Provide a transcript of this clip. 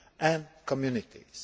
society and communities.